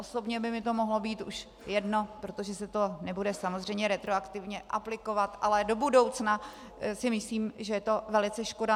Osobně by mi to mohlo být už jedno, protože se to nebude samozřejmě retroaktivně aplikovat, ale do budoucna si myslím, že je to velice škoda.